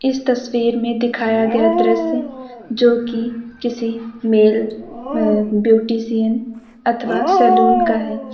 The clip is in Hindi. इस तस्वीर में दिखाया गया दृश्य जो कि किसी मेल अ ब्यूटीशियन अथवा सैलून का हैं।